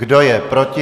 Kdo je proti?